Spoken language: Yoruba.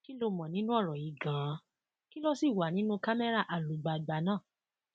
kí lo mọ nínú ọrọ yìí ganan kí ló sì wà nínú camera àlùgbàgbà náà